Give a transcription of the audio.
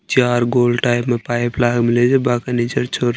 चार गोल टाइप माँ पाइप --